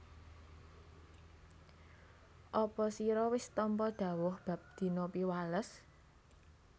Apa sira wis tampa dhawuh bab dina Piwales